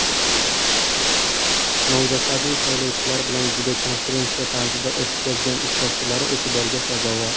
Nomzodlarning saylovchilar bilan videokonferensiya tarzida o‘tkazgan uchrashuvlari e’tiborga sazovor”.